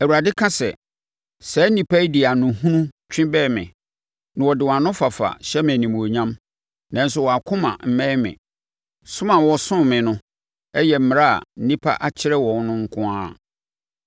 Awurade ka sɛ, “Saa nnipa yi de ano hunu twi bɛn me na wɔde wɔn anofafa hyɛ me animuonyam, nanso wɔn akoma mmɛn me. Som a wɔsom me no yɛ mmara a nnipa akyerɛ wɔn no nko ara.